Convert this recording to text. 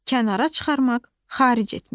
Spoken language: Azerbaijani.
Kənara çıxarmaq, xaric etmək.